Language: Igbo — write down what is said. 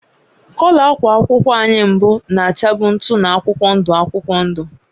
Kọlọ ákwà akwụkwọ anyị mbụ na-achabụ ntụ na akwụkwọ ndụ akwụkwọ ndụ